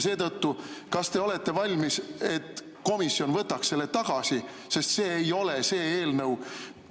Seetõttu, kas te olete valmis, et komisjon võtaks selle tagasi, sest see ei ole see eelnõu?